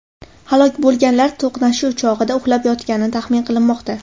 Halok bo‘lganlar to‘qnashuv chog‘ida uxlab yotgani taxmin qilinmoqda.